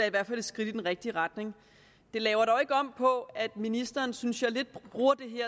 i hvert fald et skridt i den rigtige retning det laver dog ikke om på at ministeren synes jeg lidt bruger det